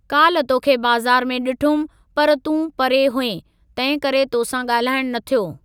काल्ह तोखे बाज़ारि में डिठुमि पर तूं परे हुएं, तंहिं करे तोसां गा॒ल्हाइणु न थियो।